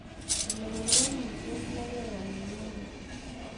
lewen wolutie ne keyan inyete